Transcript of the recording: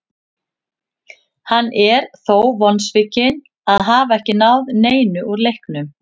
Hann er þó vonsvikinn að hafa ekki náð neinu úr leiknum.